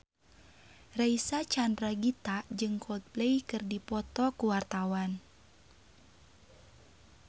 Reysa Chandragitta jeung Coldplay keur dipoto ku wartawan